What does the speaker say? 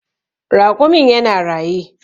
Raƙumin ya na raye.